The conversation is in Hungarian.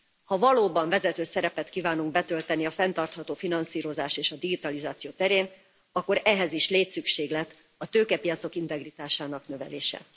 Ha valóban vezető szerepet kívánunk betölteni a fenntartható finanszírozás és a digitalizáció terén, akkor ehhez is létszükséglet a tőkepiacok integritásának növelése.